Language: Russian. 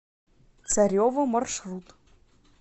царево маршрут